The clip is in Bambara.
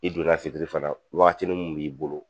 I donna fitiri fana wagatini mun b'i bolo